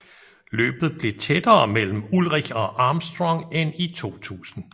Løbet blev tættere mellem Ullrich og Armstrong end i 2000